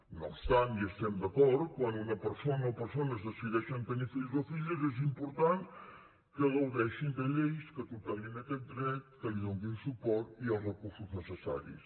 no obstant hi estem d’acord quan una persona o persones decideixen tenir fills o filles és important que gaudeixin de lleis que tutelin aquest dret que li donin suport i els recursos necessaris